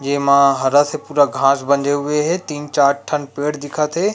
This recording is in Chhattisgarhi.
ये मा हरा से पूरा घास बंधे हुए हे तीन चार ठन पेड़ दिख थे।